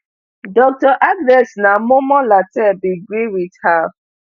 dr agnes naa momo lartey bin gree wit her